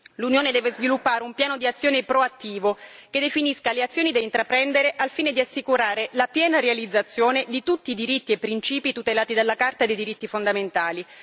L'Unione deve sviluppare un piano d'azione proattivo che definisca le azioni da intraprendere al fine di assicurare la piena realizzazione di tutti i diritti e principi tutelati dalla Carta dei diritti fondamentali.